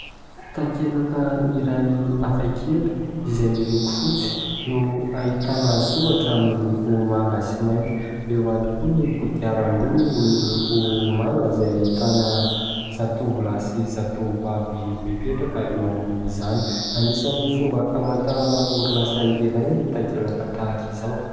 Takelaka iray hafakely izay miloko fotsy no ahitana soratra miloko manga sy mainty, eo ihany koa ny kodiaran-droa miloko manga izay ahitana zatovolahy sy zatovovavy mipetraka eo ambonin'izany, anisan'ny fomba hamantarana orinasa iray ny takelaka tahaka izao.